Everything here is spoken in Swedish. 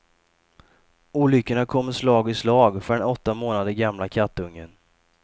Olyckorna kommer slag i slag för den åtta månader gamla kattungen.